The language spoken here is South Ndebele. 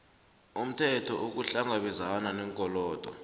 umthelo ukuhlangabezana neenkolodo